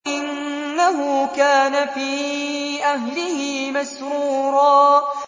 إِنَّهُ كَانَ فِي أَهْلِهِ مَسْرُورًا